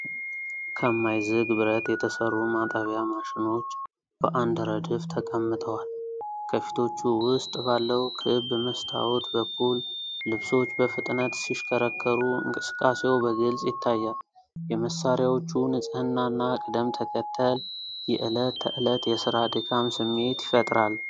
ከማይዝግ ብረት የተሠሩ ማጠቢያ ማሽኖች በአንድ ረድፍ ተቀምጠዋል። ከፊቶቹ ውስጥ ባለው ክብ መስታወት በኩል ልብሶች በፍጥነት ሲሽከረከሩ፣ እንቅስቃሴው በግልጽ ይታያል። የመሣሪያዎቹ ንጽሕናና ቅደም ተከተል፣ የዕለት ተዕለት የሥራ ድካም ስሜት ይፈጥራል።